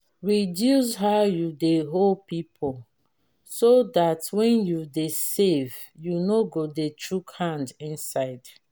reduce how you dey owe pipo so dat when you dey save you no go dey chook hand inside